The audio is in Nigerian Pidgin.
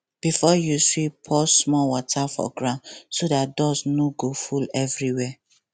before you sweep pour small water for ground so dat dust no go full everywhere